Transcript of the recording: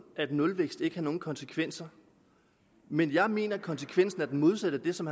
at nulvækst ikke har nogen konsekvenser men jeg mener at konsekvensen er den modsatte af det som